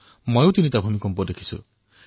মই নিজে ৩ টা ভূমিকম্প দেখিছোঁ